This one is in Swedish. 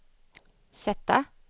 sätta